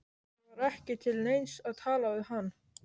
Það var ekki til neins að tala við hann.